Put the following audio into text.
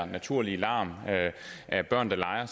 naturlige larm af børn der leger